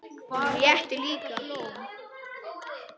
Honum létti líka.